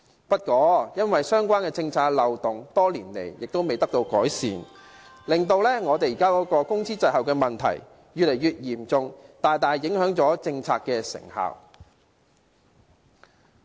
不過，因為相關政策的漏洞多年來未獲堵塞，令工資滯後的問題越來越嚴重，大大影響了政策的成效。